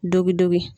Dɔ bi dɔki